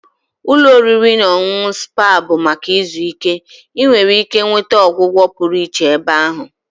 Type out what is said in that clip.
Ụlọ oriri na ọṅụṅụ spa bụ maka izu ike. Ị nwere ike nweta ọgwụgwọ pụrụ iche ebe ahụ